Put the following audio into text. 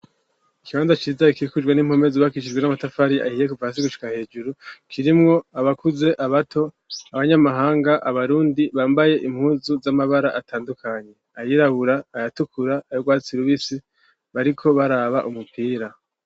Ikibanza kirizai kikujwe n'impomezubakishijwe n'amatafari ahiye kuvasi gushika hejuru kirimwo abakuze abato abanyamahanga abarundi bambaye impunzu z'amabara atandukanye ayirabura ayatukura arwatsir ubisi bariko baraba umupira.